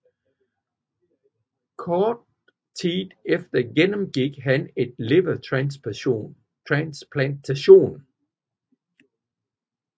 Kort tid efter gennemgik han en levertransplantation